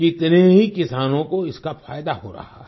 कितने ही किसानों को इसका फायदा हो रहा है